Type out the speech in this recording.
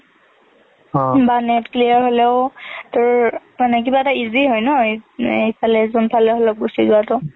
বা NET clear হলেওঁ মানে তোৰ কিবা এটা easy হয় ন এইফালে যোন ফালে হলেওঁ যোৱাটো।